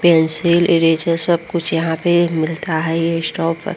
pencil eraser सब कुछ यहाँ पे मिलता है ये शॉप --